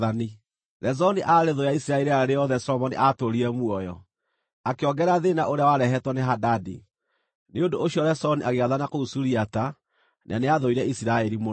Rezoni aarĩ thũ ya Isiraeli rĩrĩa rĩothe Solomoni aatũũrire muoyo, akĩongerera thĩĩna ũrĩa warehetwo nĩ Hadadi. Nĩ ũndũ ũcio Rezoni agĩathana kũu Suriata na nĩathũire Isiraeli mũno.